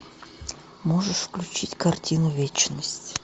можешь включить картину вечность